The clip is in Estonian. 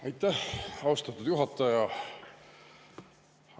Aitäh, austatud juhataja!